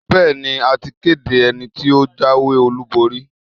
Bẹ́ẹ̀ni, a ti kéde ẹni tí ó jáwé-olúborí.